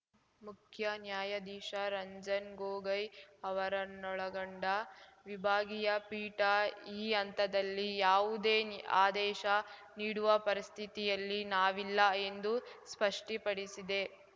ಮುಖ್ಯ ನ್ಯಾಯಾಧೀಶ ರಂಜನ್ ಗೊಗೊಯ್ ಅವರನ್ನೊಳಗೊಂಡ ವಿಭಾಗೀಯ ಪೀಠ ಈ ಹಂತದಲ್ಲಿ ಯಾವುದೇ ಆದೇಶ ನೀಡುವ ಪರಿಸ್ಥಿತಿಯಲ್ಲಿ ನಾವಿಲ್ಲ ಎಂದು ಸ್ಪಷ್ಟಿಪಡಿಸಿದೆ